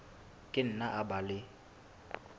ka nna a ba le